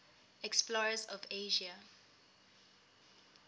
explorers of asia